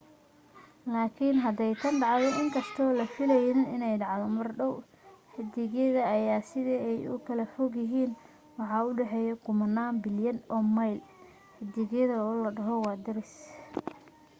laakin haday tan dhacdo inkastoo la filanaynin inay dhacdo mar dhaw xidigyada ayaa aad sida ay u kala fog yihiin waxaa u dhexeeyo kumanaan bilyan oo mayl xidigyada oo la dhaho waa daris